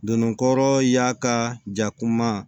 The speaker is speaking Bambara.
Donnikɔrɔ y'a ka ja kuma